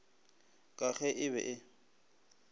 ka ge e be e